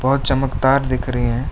बहोत चमकदार दिख रही हैं।